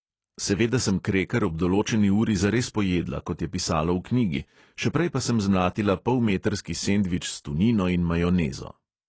Seveda sem kreker ob določeni uri zares pojedla, kot je pisalo v knjigi, še prej pa sem zmlatila polmetrski sendvič s tunino in majonezo.